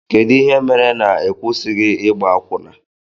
Kedụ ihe mere na ịkwụsighi ịgba akwụna?